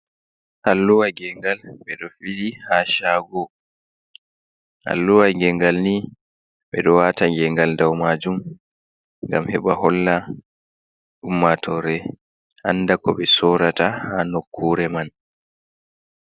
Alluwa gengal ɓe ɗo bili ha shago. Alluwa gengal ni ɓe ɗo wata gengal dau majum gam heɓa holla ummatore anda ko ɓe sorata ha nokkure man.